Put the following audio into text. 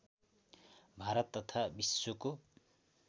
भारत तथा विश्वको